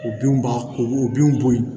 U binw ba k'u bin bo yen